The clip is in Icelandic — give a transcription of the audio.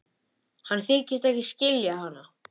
Hann þykist ekki skilja hana.